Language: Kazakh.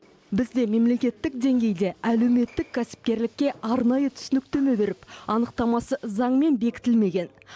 бізде мемлекеттік деңгейде әлеуметтік кәсіпкерлікке арнайы түсініктеме беріп анықтамасы заңмен бекітілмеген